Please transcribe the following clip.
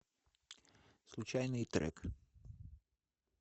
случайный трек